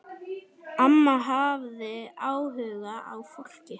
Amma hafði áhuga á fólki.